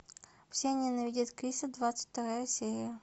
все ненавидят криса двадцать вторая серия